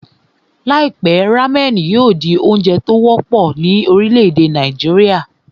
Láìpẹ́, rámẹ̀nì yóò di oúnjẹ ìlú mọ̀ọ́ kà ní